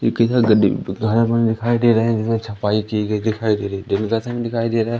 एक साथ गड्ढे में खारा पानी दिखाई दे रहा है जिसमें छपाई की गई दिखाई दे रही दिखाई दे रहा है।